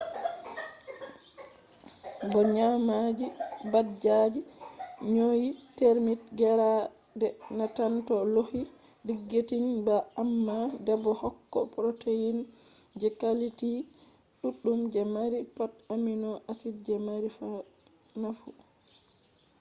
bo nyamdu dabbaji nyunyi termite gerade na tan do hoyi digesting bah amma bedo hokka protein je quality duddum je mari pat amino acids je mari nafu